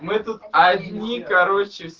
мы тут одни